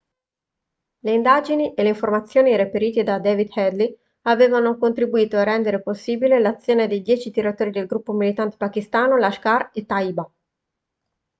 le indagini e le informazioni reperite da david headley avevano contribuito a rendere possibile l'azione dei 10 tiratori del gruppo militante pakistano lashkar-e-taiba